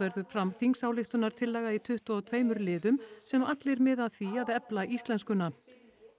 verður fram þingsályktunartillaga í tuttugu og tveimur liðum sem allir miða að því að efla íslenskuna